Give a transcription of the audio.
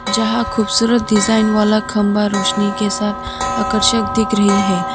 जहां खूबसूरत डिजाइन वाला खंबा रोशनी के साथ आकर्षक दिख रही है।